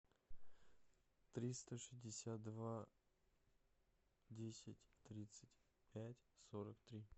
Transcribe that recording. триста шестьдесят два десять тридцать пять сорок три